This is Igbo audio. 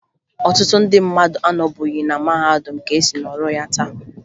Ọtụtụ ndị mmadụ anọbughi na mahadum ka e si nọrọ na ya taa